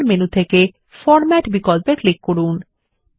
এখন প্রধান মেনু থেকে ফরম্যাট বিকল্পে ক্লিক করুন